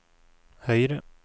høyre